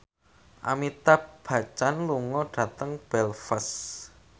Amitabh Bachchan lunga dhateng Belfast